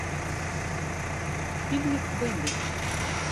фильмик бэмби